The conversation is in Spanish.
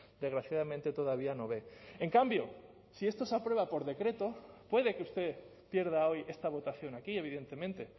desgraciadamente todavía no ve en cambio si esto se aprueba por decreto puede que usted pierda hoy esta votación aquí evidentemente